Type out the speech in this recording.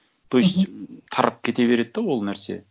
то есть тарап кете береді де ол нәрсе